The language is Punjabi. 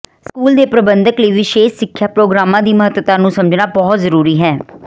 ਸਕੂਲ ਦੇ ਪ੍ਰਬੰਧਕ ਲਈ ਵਿਸ਼ੇਸ਼ ਸਿੱਖਿਆ ਪ੍ਰੋਗਰਾਮਾਂ ਦੀ ਮਹੱਤਤਾ ਨੂੰ ਸਮਝਣਾ ਬਹੁਤ ਜ਼ਰੂਰੀ ਹੈ